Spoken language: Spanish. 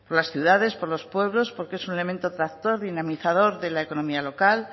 las ciudades por los pueblos porque es un elemento tractor dinamizador de la economía local